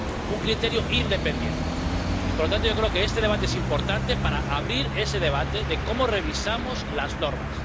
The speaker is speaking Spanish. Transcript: un criterio independiente. Y, por lo tanto, yo creo que este debate es importante para abrir ese debate de cómo revisamos las normas.